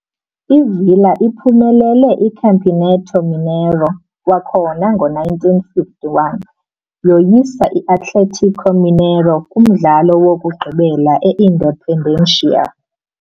I-Villa iphumelele iCampeonato Mineiro kwakhona ngo-1951, yoyisa i-Atlético Mineiro kumdlalo wokugqibela e- Independência.